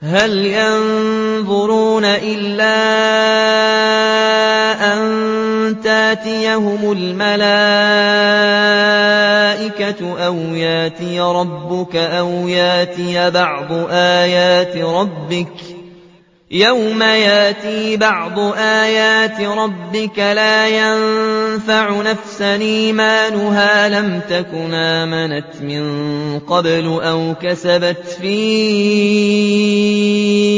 هَلْ يَنظُرُونَ إِلَّا أَن تَأْتِيَهُمُ الْمَلَائِكَةُ أَوْ يَأْتِيَ رَبُّكَ أَوْ يَأْتِيَ بَعْضُ آيَاتِ رَبِّكَ ۗ يَوْمَ يَأْتِي بَعْضُ آيَاتِ رَبِّكَ لَا يَنفَعُ نَفْسًا إِيمَانُهَا لَمْ تَكُنْ آمَنَتْ مِن قَبْلُ أَوْ كَسَبَتْ فِي